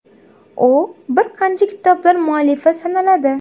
U bir qancha kitoblar muallifi sanaladi.